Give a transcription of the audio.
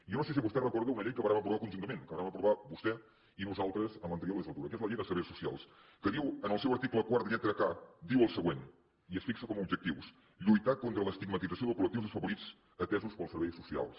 jo no sé si vostè recorda una llei que vàrem aprovar conjuntament que vàrem aprovar vostè i nosaltres en l’anterior legislatura que és la llei de serveis socials que diu en el seu article quart lletra k diu el següent i es fixa com a objectius lluitar contra l’estigmatització de col·lectius desafavorits atesos pels serveis socials